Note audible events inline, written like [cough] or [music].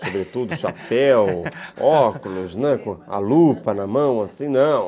sobretudo [laughs] chapéu, óculos, a lupa na mão, assim, não.